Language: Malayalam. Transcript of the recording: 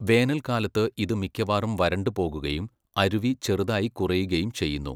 വേനൽക്കാലത്ത് ഇത് മിക്കവാറും വരണ്ടുപോകുകയും അരുവി ചെറുതായി കുറയുകയും ചെയ്യുന്നു.